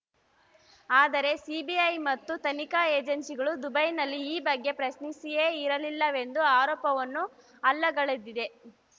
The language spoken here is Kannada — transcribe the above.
ಆದರೆ ಸಿಬಿಐ ಮತ್ತು ತನಿಖಾ ಏಜೆನ್ಸಿಗಳು ದುಬೈನಲ್ಲಿ ಈ ಬಗ್ಗೆ ಪ್ರಶ್ನಿಸಿಯೇ ಇರಲಿಲ್ಲವೆಂದು ಆರೋಪವನ್ನು ಅಲ್ಲಗಳೆದಿವೆ